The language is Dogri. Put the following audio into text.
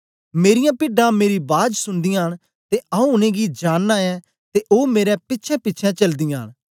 मेरीयां पिड्डां मेरी बाज सुनदीयां न ते आऊँ उनेंगी जानना ऐं ते ओ मेरे पिछेंपिछें चलदीयां न